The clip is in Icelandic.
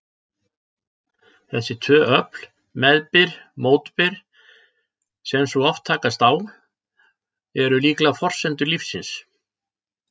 Þessi tvö öfl, meðbyr-mótbyr, sem svo oft takast á, eru líklega forsendur lífsins.